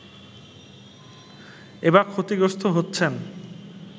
এবার ক্ষতিগ্রস্ত হচ্ছেন